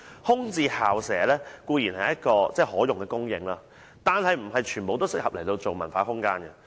空置校舍固然是可用的土地供應，但並非全部也適合用作文化空間。